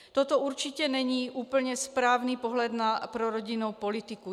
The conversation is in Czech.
Toto určitě není úplně správný pohled pro rodinnou politiku.